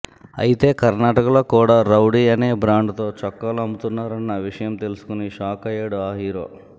అయితే కర్ణాటకలో కూడా రౌడీ అనే బ్రాండ్ తో చొక్కాలు అమ్ముతున్నారన్న విషయం తెలుసుకుని షాక్ అయ్యాడు ఈ హీరో